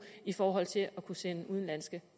i forhold til at kunne sende udenlandske